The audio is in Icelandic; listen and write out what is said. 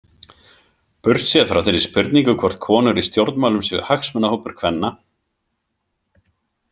Burtséð frá þeirri spurningu hvort konur í stjórnmálum séu hagsmunahópur kvenna.